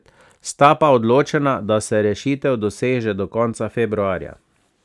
Sta pa odločena, da se rešitev doseže do konca februarja.